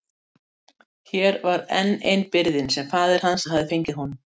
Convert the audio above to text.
Hér var enn ein byrðin sem faðir hans hafði fengið honum.